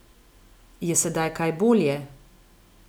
Je sedaj kaj bolje?